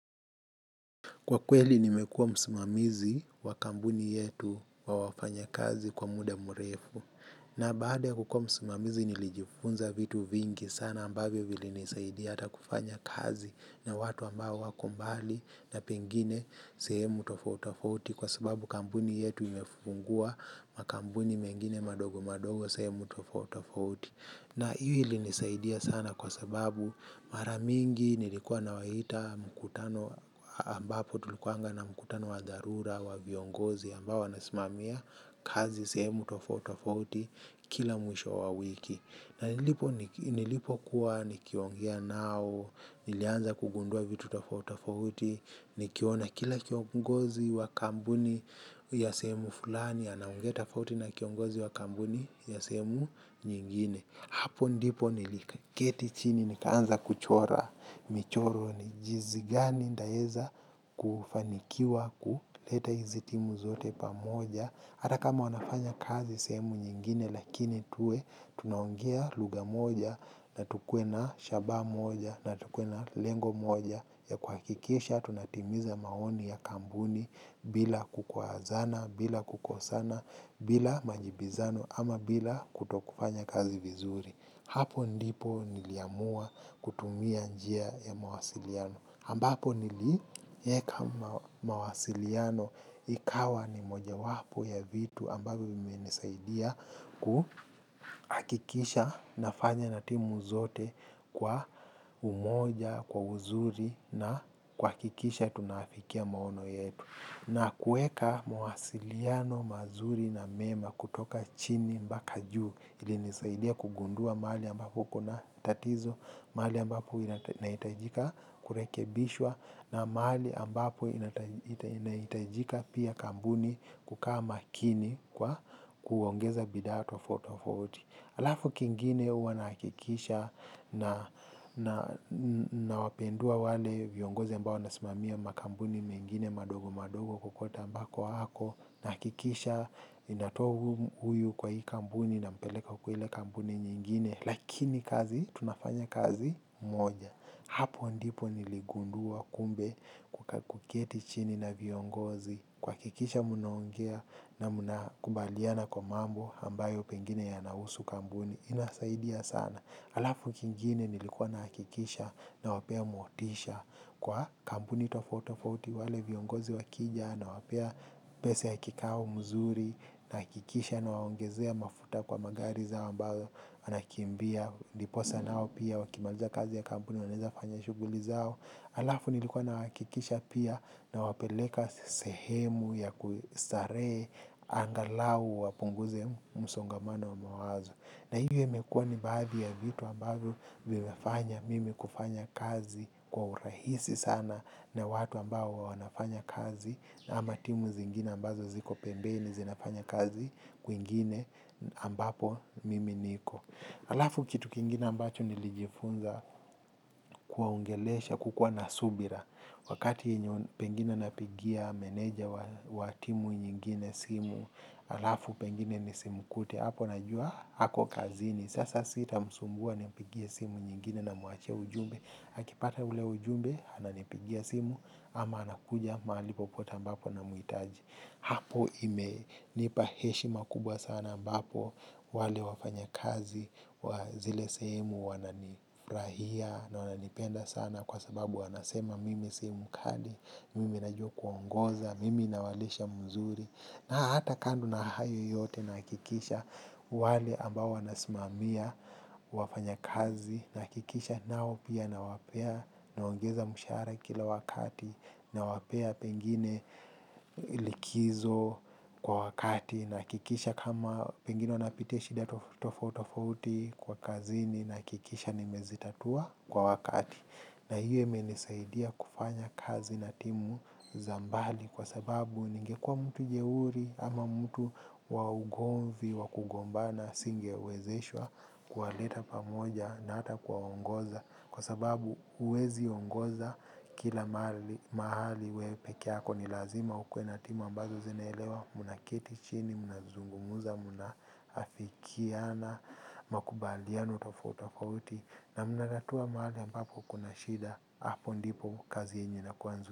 Kwa kweli nimekua msimamizi wa kampuni yetu wa wafanya kazi kwa muda mrefu na baada kukua msimamizi nilijifunza vitu vingi sana ambavyo vilinisaidia ata kufanya kazi na watu ambao wako mbali na pengine sehemu tofauti tofauti. Kwa sababu kampuni yetu imefungua makampuni mengine madogo madogo sehemu tofauti tofauti. Na hii ili inisaidia sana kwa sababu maramingi nilikuwa na waita mkutano ambapo tulikuanga na mkutano wa dharura wa viongozi ambao wanasimamia kazi sehemu tofauti tofauti kila mwisho wa wiki. Nilipokuwa nikiongea nao nilianza kugundua vitu tofauti tofauti nikiona kila kiongozi wa kampuni ya sehemu fulani anaongea tofauti na kiongozi wa kampuni ya sehemu nyingine hapo ndipo niliketi chini nikaanza kuchora michoro ni jinsi gani nitaeza kufanikiwa kuleta hizi timu zote pamoja hata kama wanafanya kazi sehemu nyingine lakini tuwe tunaongea lugha moja na tukuwe na shabaha moja na tukuwe na lengo moja ya kuhakikisha tunatimiza maoni ya kampuni bila kukwazana bila kukosana bila majibizano ama bila kutokufanya kazi vizuri hapo ndipo niliamua kutumia njia ya mawasiliano. Ambapo nilieka mawasiliano ikawa ni mojawapo ya vitu ambavyo vimenisaidia kuhakikisha nafanya na timu zote kwa umoja, kwa uzuri na kuhakikisha tunaafikia maono yetu. Na kueka mawasiliano mazuri na mema kutoka chini mpaka juu ilinisaidia kugundua mahali ambapo kuna tatizo, mahali ambapo inahitajika kurekebishwa na mahali ambapo inahitajika pia kampuni kukaa makini kwa kuongeza bidhaa tofauti tofauti. Alafu kingine huwa nahakikisha nawapendua wale viongozi ambao wanasimamia makampuni mengine madogo madogo kokote ambako ako, nahakikisha ninatoa huyu kwa hii kampuni nampeleka kwa ile kampuni nyingine, lakini kazi tunafanya kazi moja. Hapo ndipo niligundua kumbe kuketi chini na viongozi kuhakikisha mnaongea na mnakubaliana kwa mambo ambayo pengine yanahusu kampuni inasaidia sana alafu kingine nilikuwa nahakikisha nawapea motisha kwa kampuni tofauti tofauti wale viongozi wakija nawapea pesa ya kikao mzuri nahakikisha nawaongezea mafuta kwa magari zao ambayo anakimbia ndiposa nao pia wakimaliza kazi ya kampuni wanaezafanya shughuli zao. Alafu nilikuwa nahakikisha pia nawapeleka sehemu ya kustarehe angalau wapunguze msongamano wa mawazo na hiyo imekuwa ni baadhi ya vitu ambavyo vimefanya mimi kufanya kazi kwa urahisi sana na watu ambao wanafanya kazi ama timu zingine ambazo ziko pembeni zinafanya kazi kwingine ambapo mimi niko. Alafu kitu kingine ambacho nilijifunza kuwaongelesha, kukua na subira. Wakati yenye pengine napigia meneja wa timu nyingine simu, alafu pengine nisimkute hapo najua, hako kazini. Sasa sitamsumbua nimpigie simu nyingine namuachia ujumbe. Akipata ule ujumbe, ananipigia simu, ama anakuja mahali popote ambapo namuhitaji. Hapo imenipa heshima kubwa sana ambapo wale wafanyakazi zile sehemu wananifurahia na wananipenda sana kwa sababu wanasema mimi si mkali, mimi najua kuongoza, mimi nawalisha mzuri. Na hata kando na hayo yote nahakikisha wale ambao wanasimamia wafanyikazi nahakikisha nao pia nawapea naongeza mshahara kila wakati nawapea pengine likizo kwa wakati nahakikisha kama pengine wanapitia shida tofauti tofauti kwa kazini nahakikisha nimezitatua kwa wakati. Na hiyo imenisaidia kufanya kazi na timu za mbali kwa sababu ningekuwa mtu jeuri ama mtu wa ugonvi wa kugombana singewezeshwa kuwaleta pamoja na hata kuwaongoza kwa sababu huweziongoza kila mahali mahali we peke yako ni lazima ukuwe na timu ambazo zinaelewa mnaketi chini, mnazungumza, mnaafikiana, makubaliano tofauti tofauti na mnatatua mahali ambapo kuna shida hapo ndipo kazi yenye inakuwa nzuri.